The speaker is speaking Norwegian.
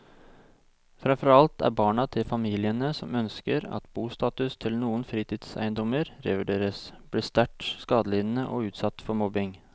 Fremfor alt er barna til familiene som ønsker at bostatus til noen fritidseiendommer revurderes, blitt sterkt skadelidende og utsatt for mobbing.